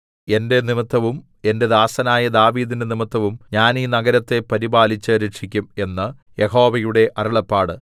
എന്റെ നിമിത്തവും എന്റെ ദാസനായ ദാവീദിന്റെ നിമിത്തവും ഞാൻ ഈ നഗരത്തെ പരിപാലിച്ച് രക്ഷിക്കും എന്ന് യഹോവയുടെ അരുളപ്പാട്